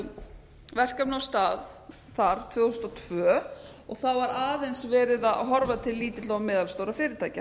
fór verkefni á stað þar tvö þúsund og tvö það var aðeins verið að horfa til lítilla og meðalstórra fyrirtækja